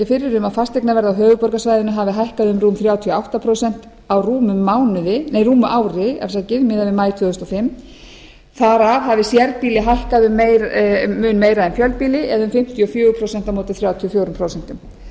fyrir um að fasteignaverð á höfuðborgarsvæðinu hafi hækkað um rúm þrjátíu og átta prósent á rúmu ári miðað við maí tvö þúsund og fimm þar af hafi sérbýli hækkað um mun meira en fjölbýli eða um fimmtíu og fjögur prósent á móti þrjátíu og fjögur prósent